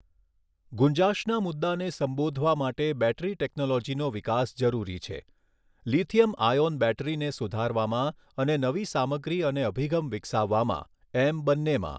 ગુંજાશના મુદ્દાને સંબોધવા માટે બૅટરી ટેક્નૉલોજીનો વિકાસ જરૂરી છે. લિથિયમ આયોન બૅટરીને સુધારવામાં અને નવી સામગ્રી અને અભિગમ વિકસાવવામાં, એમ બન્નેમાં.